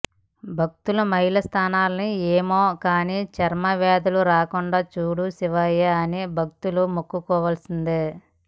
భక్తుల మైల స్నానాలు ఏమో కానీ చర్మవ్యాధులు రాకుండా చూడు శివయ్య అని భక్తులు మొక్కుకోవల్సిందే